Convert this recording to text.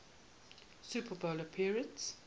super bowl appearance